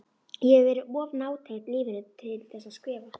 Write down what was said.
Ég hef verið of nátengd lífinu tilþessað skrifa.